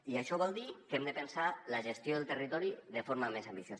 i això vol dir que hem de pensar la gestió del territori de forma més ambiciosa